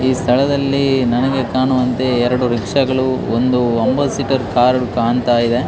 ಈ ಸ್ಥಳದಲ್ಲಿ ನನಗೆ ಕಾಣುವಂತೆ ಎರಡು ರಿಕ್ಷಾಗಳು ಒಂದು ಅಂಬಾಸಿಟ್ರ್ ಕಾರ್ ಕಾಣ್ತಾ ಇದೆ.